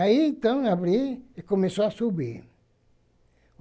Aí, então, abri e começou a subir.